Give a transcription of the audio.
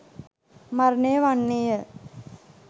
මරණය වන්නේය.